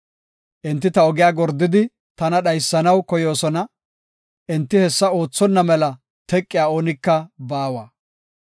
Enti ta ogiya gordidi tana dhaysanaw koyoosona; enti hessa oothonna mela teqiya oonika baawa.